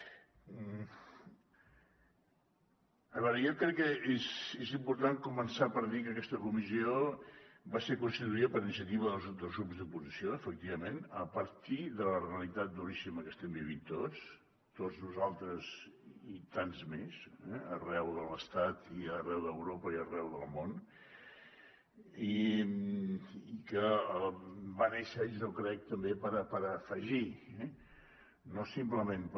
a veure jo crec que és important començar per dir que aquesta comissió va ser constituïda per iniciativa dels grups de l’oposició efectivament a partir de la realitat duríssima que estem vivint tots tots nosaltres i tants més arreu de l’estat i arreu d’europa i arreu del món i que va néixer jo crec també per afegir no simplement per